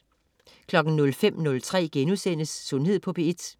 05.03 Sundhed på P1* 05.30 Vita* (tirs-lør)